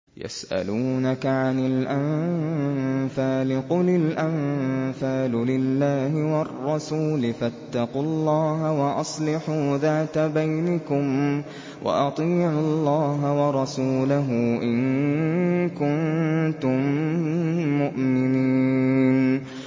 يَسْأَلُونَكَ عَنِ الْأَنفَالِ ۖ قُلِ الْأَنفَالُ لِلَّهِ وَالرَّسُولِ ۖ فَاتَّقُوا اللَّهَ وَأَصْلِحُوا ذَاتَ بَيْنِكُمْ ۖ وَأَطِيعُوا اللَّهَ وَرَسُولَهُ إِن كُنتُم مُّؤْمِنِينَ